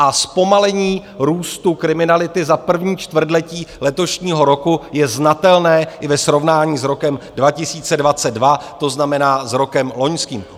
A zpomalení růstu kriminality za první čtvrtletí letošního roku je znatelné i ve srovnání s rokem 2022, to znamená s rokem loňským.